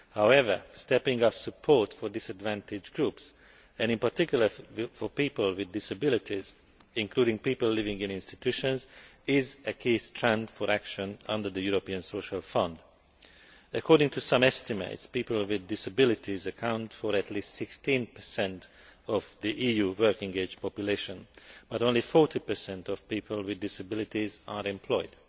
However, stepping up support for disadvantaged groups and, in particular, for people with disabilities, including people living in institutions, is a key strand for action under the European Social Fund. According to some estimates, people with disabilities account for at least 16 of the EU working age population, but only 40 of people with disabilities are employed.